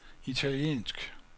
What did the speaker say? italiensk